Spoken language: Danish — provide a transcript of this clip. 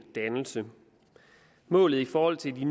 dannelse målet i forhold til